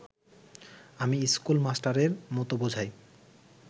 আমি ইস্কুল মাস্টারের মত বোঝাই